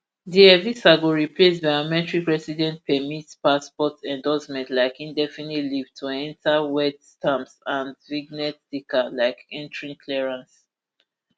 di evisa go replace biometric residence permits brp passport endorsements like indefinite leave to enta wet stamps and vignette sticker like entry clearance